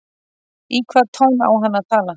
Í hvaða tón á hann að tala?